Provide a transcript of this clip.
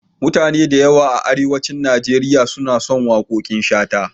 Mutane da yawa a Arewacin Nigeria suna son waƙoƙin Shata.